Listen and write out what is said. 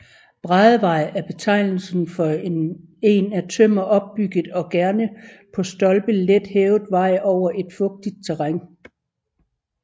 Bræddevej er betegnelsen for en af tømmer opbygget og gerne på stolper let hævet vej over et fugtigt terræn